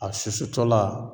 A susutɔla